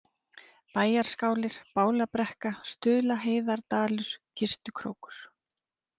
Bæjarskálir, Bálabrekka, Stuðlaheiðardalur, Kistukrókur